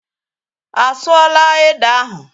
Á sụọ là ede ahụ?